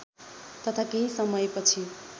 तथा केही समयपछि